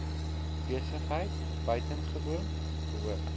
besigheid buitengewoon behoort